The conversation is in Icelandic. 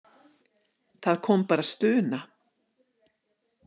Það kom bara stuna.